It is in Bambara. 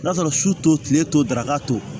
N'a sɔrɔ su to tile t'o daraka to